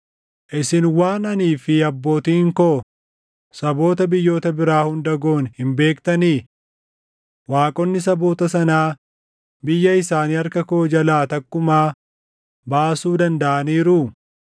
“Isin waan anii fi abbootiin koo saboota biyyoota biraa hunda goone hin beektanii? Waaqonni saboota sanaa biyya isaanii harka koo jalaa takkumaa baasuu dandaʼaniiruu?